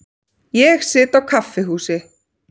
Ég sit á kaffihúsi.